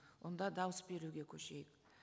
онда дауыс беруге көшейік